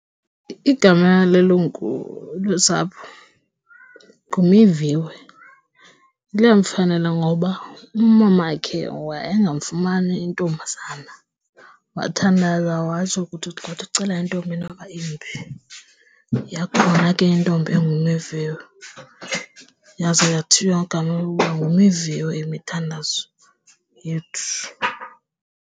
Igama lelungu losapho nguMiviwe, liyamfanela ngoba umamakhe wayengamfumani intombazana, wathandaza watsho kuThixo xa uthi ucela intombi noba imbi. Yakhona ke intombi enguMiviwe yazo yathiywa igama lokuba nguMiviwe Imithandazo Yethu.